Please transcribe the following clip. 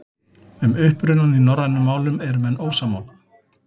Um upprunann í norrænum málum eru menn ósammála.